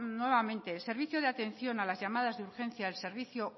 nuevamente el servicio de atención a las llamadas de urgencia al servicio